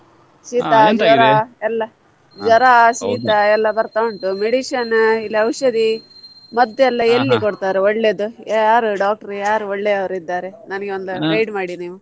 ಶೀತ ಜ್ವರ ಎಲ್ಲ ಜ್ವರ ಶೀತ ಎಲ್ಲ ಬರ್ತಾ ಉಂಟು medicine ಇಲ್ಲಿ ಔಷಧಿ ಮದ್ದುಯಲ್ಲ ಎಲ್ಲಿ ಕೊಡ್ತಾರೆ ಒಳ್ಳೆದು ಯಾರು doctor ಯಾರು ಒಳ್ಳೆಯವ್ರು ಇದ್ದಾರೆ ನನಿಗೆ ಒಂದು guide ಮಾಡಿ ನೀವು.